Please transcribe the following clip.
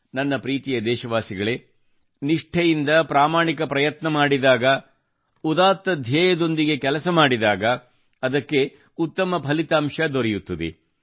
ನನ್ನ ಪ್ರೀತಿಯ ದೇಶವಾಸಿಗಳೇ ನಿಷ್ಠೆಯಿಂದ ಪ್ರಾಮಾಣಿಕ ಪ್ರಯತ್ನ ಮಾಡಿದಾಗ ಉದಾತ್ತ ಧ್ಯೇಯದೊಂದಿಗೆ ಕೆಲಸ ಮಾಡಿದಾಗ ಅದಕ್ಕೆ ಉತ್ತಮ ಫಲಿತಾಂಶ ದೊರೆಯುತ್ತದೆ